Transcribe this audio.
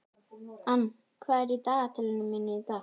Ann, hvað er í dagatalinu mínu í dag?